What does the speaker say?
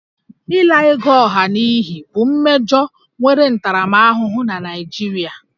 Ịla ego ọha n'iyi bụ mmejọ nwere ntaramahụhụ na Naịjirịa